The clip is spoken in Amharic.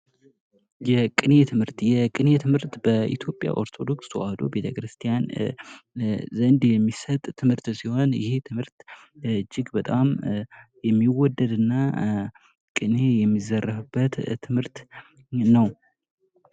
የቅኔ ትምህርት ። የቅኔ ትምህርት በኢትዮጵያ ኦርቶዶክስ ተዋሕዶ ቤተክርስቲያን ዘንድ የሚሰጥ ትምህርት ሲሆን ይህ ትምህርት እጅግ በጣም የሚወደድ እና ቅኔ የሚዘረፍበት ትምህርት ነው ።